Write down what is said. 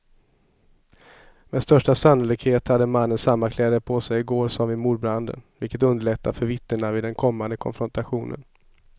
Med största sannolikhet hade mannen samma kläder på sig i går som vid mordbranden, vilket underlättar för vittnena vid den kommande konfrontationen.